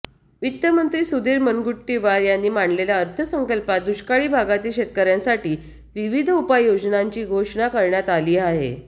वित्तमंत्री सुधीर मुनगंटीवार यांनी मांडलेल्या अर्थसंकल्पात दुष्काळी भागातील शेतकऱ्यांसाठी विविध उपाययोजनांची घोषणा करण्यात आली आहे